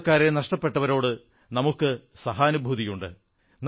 സ്വന്തക്കാരെ നഷ്ടപ്പെട്ടവരോട് നമുക്ക് സഹാനുഭൂതിയുണ്ട്